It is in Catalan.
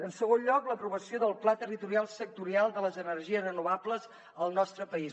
en segon lloc l’aprovació del pla territorial sectorial de les energies renovables al nostre país